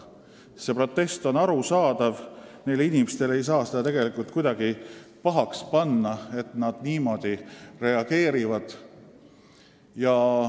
Ja see protest on arusaadav, inimestele ei saa kuidagi pahaks panna, et nad niimoodi reageerivad.